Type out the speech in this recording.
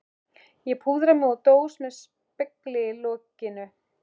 Ég púðra mig úr dós með spegli í lokinu.